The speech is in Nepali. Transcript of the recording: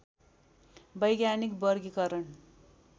वैज्ञानिक वर्गीकरण